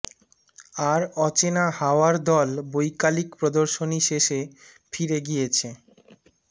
আর অচেনা হাওয়ার দল বৈকালিক প্রদর্শনী শেষে ফিরে গিয়েছে